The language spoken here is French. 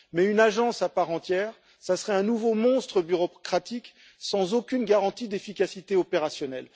Une agence à part entière serait un nouveau monstre bureaucratique, sans aucune garantie d'efficacité opérationnelle.